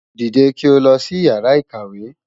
Dìde kí o lọ sí Ìyàrá-ìkàwé!